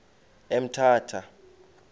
emthatha